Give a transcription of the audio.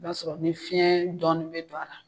O k'a sɔrɔ ni fiɲɛn dɔɔnin bɛ don a la.